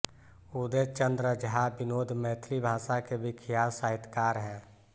उदय चंद्र झा विनोद मैथिली भाषा के विख्यात साहित्यकार हैं